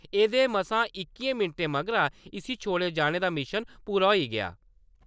एह्दे मसां इक्कियें मैंटें मगरा इस्सी छोड़े जाने दा मिशन पूरा होई गेआ ।